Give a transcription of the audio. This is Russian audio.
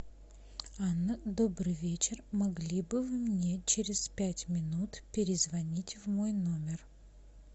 добрый вечер могли бы вы мне через пять минут перезвонить в мой номер